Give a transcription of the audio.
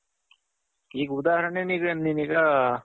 ಈಗ ಉದಹರಣೆ ನೀನು ಈಗ